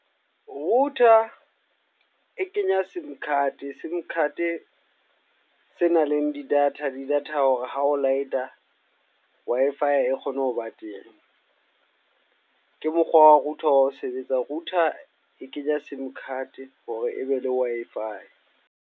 Router e kenya sim card, sim card se nang le di-data. Di-data hore ha o light-a Wi-Fi e kgone ho ba teng. Ke mokgwa wa router wa ho sebetsa. Router e kenye sim card hore e be le Wi-Fi.